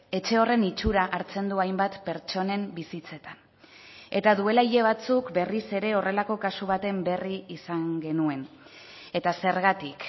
etxe horren itxura hartzen du hainbat pertsonen bizitzetan eta duela hile batzuk berriz ere horrelako kasu baten berri izan genuen eta zergatik